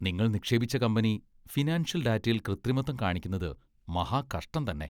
നിങ്ങൾ നിക്ഷേപിച്ച company financial ഡാറ്റയിൽ കൃത്രിമത്വം കാണിക്കുന്നത് മഹാകഷ്ടം തന്നെ .